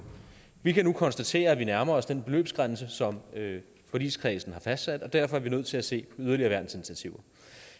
vi kan nu konstatere at vi nærmer os den beløbsgrænse som forligskredsen har fastsat og derfor er vi nødt til at se yderligere værnsinitiativer